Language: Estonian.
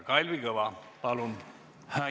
Kalvi Kõva, palun!